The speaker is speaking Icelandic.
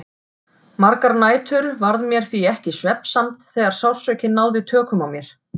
Margar nætur varð mér því ekki svefnsamt þegar sársaukinn náði tökum á mér.